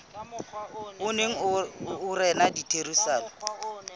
o neng o rena ditherisanong